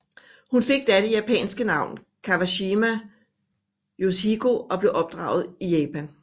Hun fik da det japanske navn Kawashima Yoshiko og blev opdraget i Japan